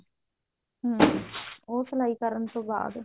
ਹਮ ਉਹ ਸਲਾਈ ਕਰਨ ਤੋਂ ਬਾਅਦ